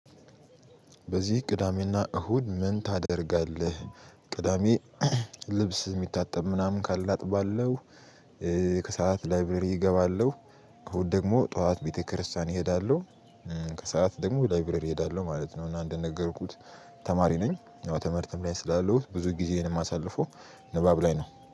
በዚህ ቅዳሜና እሁድ ምን ታደርጋለህ? ቅዳሜ ልብስ የሚታጠብ ምናምን ካለ አጥባለሁ። ከሰአት ላይብረሪ እገባለሁ። እሁድ ደግሞ ጠዋት ቤተክርስቲያን እሄዳለሁ። ከሰአት ደግሞ ላይብረሪ እሄዳለሁ ማለት ነው። እና እንደነገርኩት ተማሪ ነኝ። አዎ ትምህርትም ላይ ስላለሁት ብዙ ጊዜዬን ማሳለፈው ንባብ ላይ ነው